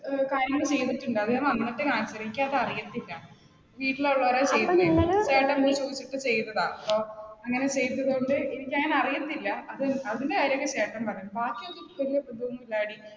ഏർ കാര്യങ്ങൾ ചെയ്തിട്ടുണ്ട് അത് ഞാൻ വന്നിട്ട് കാണിച്ചുതരാം, എനിക്ക് അത് അറിയത്തില്ല. വീട്ടിലുള്ളവരേ അങ്ങനെ ചെയ്തതുകൊണ്ട് എനിക്കങ്ങനെ അറിയത്തില്ല അതിന്റെ കാര്യമൊക്കെ ചേട്ടൻ പറയും ബാക്കിയൊക്കെ ഇല്ലാടി